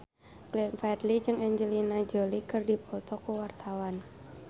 Glenn Fredly jeung Angelina Jolie keur dipoto ku wartawan